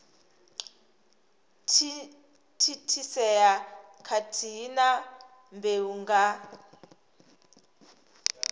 thithisea khathihi na mbeu nga